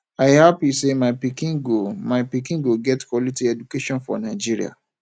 i happy say my pikin go my pikin go get quality education for nigeria